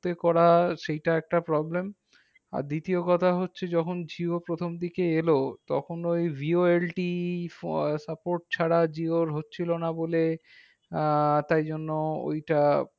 তে করা সেইটা একটা problem আর দ্বিতীয় কথা হচ্ছে যখন jio প্রথম দিকে এলো তখন ওই jioLTfor support ছাড়া Jio হচ্ছিলো না বলে আহ তাই জন্য ওইটা